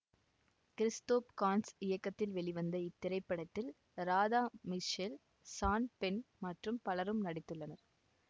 Christophe Gans இயக்கத்தில் வெளிவந்த இத்திரைப்படத்தில் ராதா மிஷ்செல் சான் பென் மற்றும் பலரும் நடித்துள்ளனர்